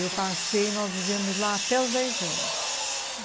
Eu passei, nós vivemos lá até os dez anos.